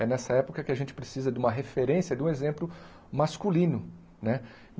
É nessa época que a gente precisa de uma referência, de um exemplo masculino né.